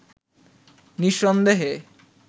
নিঃসন্দেহে